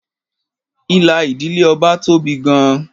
Ìlà ìdílé Ọba tóbi gan-an.